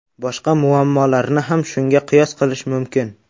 Boshqa muammolarni ham shunga qiyos qilish mumkin.